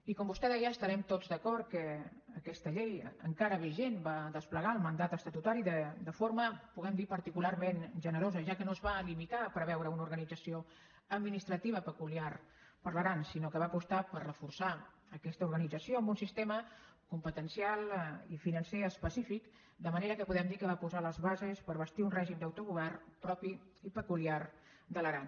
i com vostè deia estarem tots d’acord que aquesta llei encara vigent va desplegar el mandat estatutari de forma podem dir particularment generosa ja que no es va limitar a preveure una organització administrativa peculiar per a l’aran sinó que va apostar per reforçar aquesta organització amb un sistema competencial i financer específic de manera que podem dir que va posar les bases per bastir un règim d’autogovern propi i peculiar de l’aran